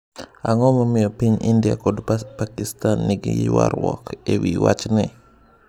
Ang'o momiyo piny India kod Pakistan nigi ywarruok ewi wachni?